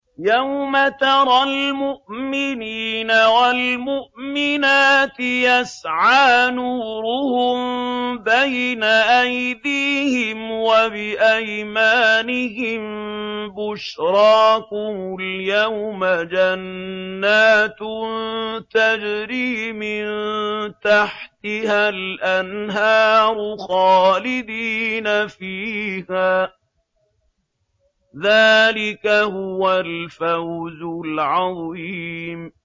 يَوْمَ تَرَى الْمُؤْمِنِينَ وَالْمُؤْمِنَاتِ يَسْعَىٰ نُورُهُم بَيْنَ أَيْدِيهِمْ وَبِأَيْمَانِهِم بُشْرَاكُمُ الْيَوْمَ جَنَّاتٌ تَجْرِي مِن تَحْتِهَا الْأَنْهَارُ خَالِدِينَ فِيهَا ۚ ذَٰلِكَ هُوَ الْفَوْزُ الْعَظِيمُ